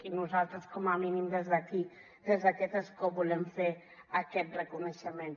i nosaltres com a mínim des d’aquí des d’aquest escó volem fer aquest reconeixement